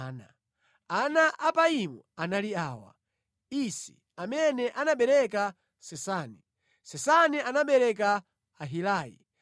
Ana a Apaimu anali awa: Isi, amene anabereka Sesani. Sesani anabereka Ahilai.